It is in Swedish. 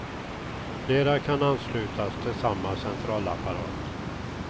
Flera kan anslutas till samma centralapparat.